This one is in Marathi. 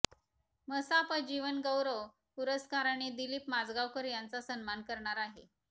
मसाप जीवन गौरव पुरस्काराने दिलीप माजगावकर यांचा सन्मान करणार आहे